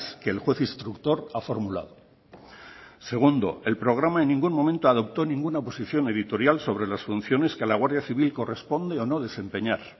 que el juez instructor ha formulado segundo el programa en ningún momento adoptó ninguna posición editorial sobre las funciones que a la guardia civil corresponde o no desempeñar